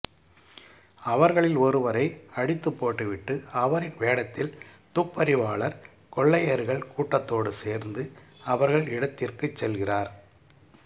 அவர்களில் ஒருவரை அடித்துப்போட்டுவிட்டு அவரின் வேடத்தில் துப்பறிவாளர் கொள்ளையர்கள் கூட்டத்தோடு சேர்ந்து அவர்கள் இடத்திற்குச் செல்கிறார்